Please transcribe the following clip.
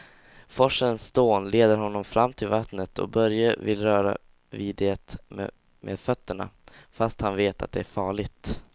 Forsens dån leder honom fram till vattnet och Börje vill röra vid det med fötterna, fast han vet att det är farligt.